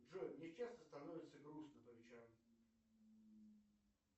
джой мне часто становится грустно по вечерам